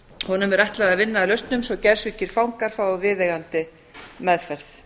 honum er ætlað að vinna að lausnum svo geðsjúkir fangar fái viðeigandi meðferð